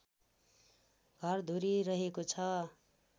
घरधुरी रहेको छ